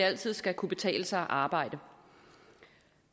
altid skal kunne betale sig at arbejde